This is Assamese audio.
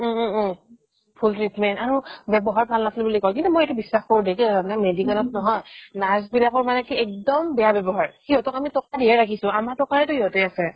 উম উম উম উম ভূল treatment আৰু ব্যৱহাৰ ভাল নাছিল বুলি ক'লে কিন্তু মই এইটো বিশ্বাস কৰো দেই কিয় মানে medical ত নহয় nurse বিলাকৰ মানে কি একদম বেয়া ব্যৱহাৰ সিহঁতক আমি টকা দিহে ৰাখিছো আমাৰ টকাৰেতো সিহঁতে আছে ।